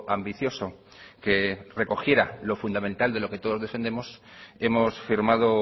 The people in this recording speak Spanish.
ambicioso que recogiera lo fundamental de lo que todos defendemos hemos firmado